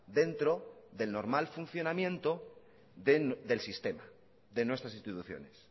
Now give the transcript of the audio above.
dentro del normal funcionamiento del sistema de nuestras instituciones